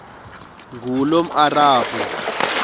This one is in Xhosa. ngulomarabu